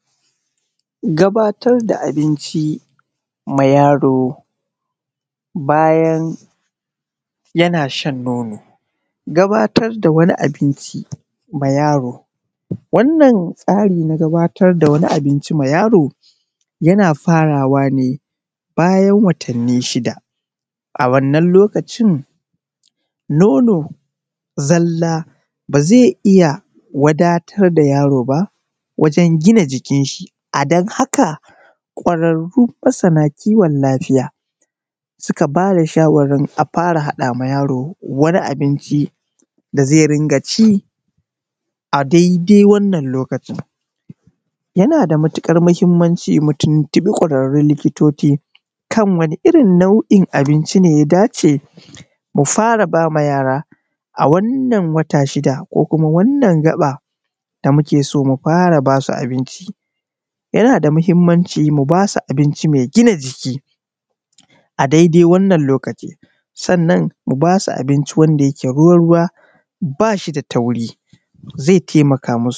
Gabatar da abinci ma yaro bayan yana shan no:no gabatar da wani abinci ma yaro yana farawa ne bayan watanni shida a wannan lokacin no:no zalla ba zai iya wada:tar da yaro ba wajen gina jikinshi adan haka ƙwararru masana kiwon lafiya suka bada: shawarwarin a fara haɗa ma yaro wani abinci da zai rinƙa ci adai-dai wannan lokacin yana da matuƙar mahimmanci mu tuntuɓa ƙwararrun lilkitol:ci kan wani irin nau’in abinci ne ya dace, mu fara bama yara a wannan wata shida ko kuma wannan gaɓa da muke so mu fara: ba su abinci. Yana da mahimmanci mu ba su: abinci mai gina jiki adai-dai wannan lokaci sannan mu basu: abinci wanda yake ruwa-ruwa ba shi da tauri zai taimaka mu su:.